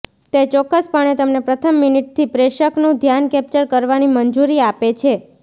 તે ચોક્કસપણે તમને પ્રથમ મિનિટથી પ્રેષકનું ધ્યાન કેપ્ચર કરવાની મંજૂરી આપે છે